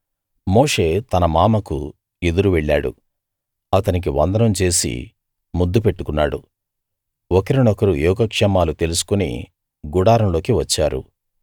మోషే తన మామకు ఎదురు వెళ్ళాడు అతనికి వందనం చేసి ముద్దు పెట్టుకున్నాడు ఒకరినొకరు యోగక్షేమాలు తెలుసుకుని గుడారంలోకి వచ్చారు